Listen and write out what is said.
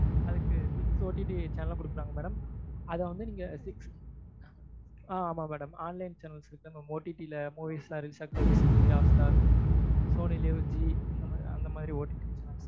அதுக்கு six OTT channel ம் குடுக்குறாங்க madam அதை வந்து நீங்க six ஆஹ் ஆமா madam online channels madam OTT ல movies எல்லாம் அந்த மாதிரி